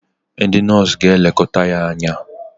ndị nọọsụ ga-elekọta ya anya